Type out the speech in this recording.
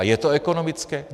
A je to ekonomické?